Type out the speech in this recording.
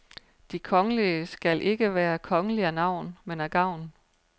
De kongelige skal ikke være kongelige af navn, men af gavn.